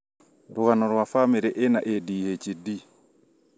rũgano rwa bamĩrĩ ĩna ADHD